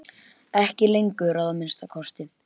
Ekki lengur, að minnsta kosti.